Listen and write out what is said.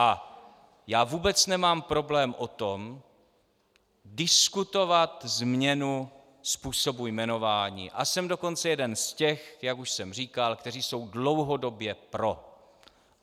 A já vůbec nemám problém o tom, diskutovat změnu způsobu jmenování, a jsem dokonce jeden z těch, jak už jsem říkal, kteří jsou dlouhodobě pro.